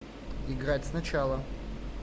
играть сначала